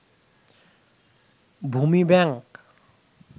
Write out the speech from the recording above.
ভূমি ব্যাংক